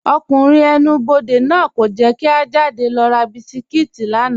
Ọkùnrin ẹ̀nù-bọdẹ̀ náà kò jẹ́ kí à jádẹ̀ lọ rà bísikítì lána.